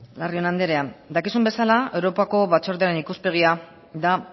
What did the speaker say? larrion anderea dakizun bezala europako batzordearen ikuspegia da